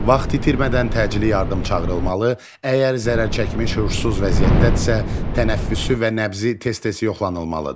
Vaxt itirmədən təcili yardım çağırılmalı, əgər zərərçəkmiş huşsuz vəziyyətdədirsə, tənəffüsü və nəbzi tez-tez yoxlanılmalıdır.